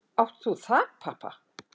Átt þú þakpappa?